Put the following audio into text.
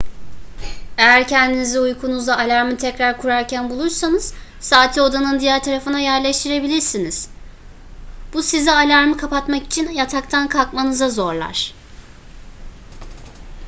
eğer kendinizi uykunuzda alarmı tekrar kurarken bulursanız saati odanın diğer tarafına yerleştirilebilirsiniz bu sizi alarmı kapatmak için yataktan kalkmanıza zorlar